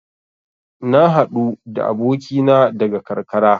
Na haɗu da abokina daga karkara.